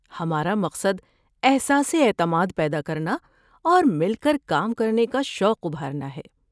ہمارا مقصد احساسِ اعتماد پیدا کرنا اور مل کر کام کرنے کا شوق ابھارنا ہے۔